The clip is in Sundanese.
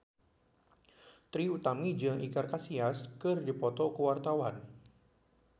Trie Utami jeung Iker Casillas keur dipoto ku wartawan